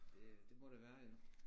Det det må det være jo